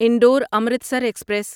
Indore Amritsar express